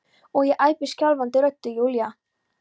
og ég æpi skjálfandi röddu: Júlía!